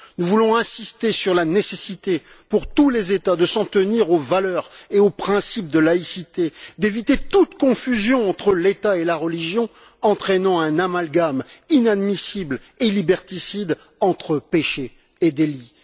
Nous voulons insister sur la nécessité, pour tous les États, de s'en tenir aux valeurs et aux principes de laïcité, d'éviter toute confusion entre l'État et la religion entraînant un amalgame inadmissible et liberticide entre péché et délit.